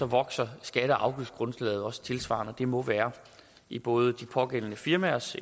vokser skatte og afgiftsgrundlaget også tilsvarende og det må være i både de pågældende firmaers